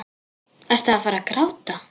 Ertu að fara að gráta?